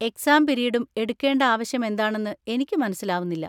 Exam പിരീഡും എടുക്കേണ്ട ആവശ്യം എന്താണെന്ന് എനിക്ക് മനസ്സിലാവുന്നില്ല.